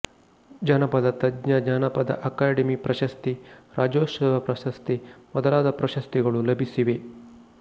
ಜಾನಪದ ತಜ್ಞ ಜಾನಪದ ಅಕಾಡೆಮಿ ಪ್ರಶಸ್ತಿ ರಾಜ್ಯೋತ್ಸವ ಪ್ರಶಸ್ತಿ ಮೊದಲಾದ ಪ್ರಶಸ್ತಿಗಳು ಲಭಿಸಿವೆ